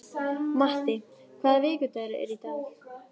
Matti, hvaða vikudagur er í dag?